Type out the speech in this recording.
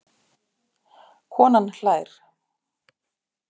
Konan hlær.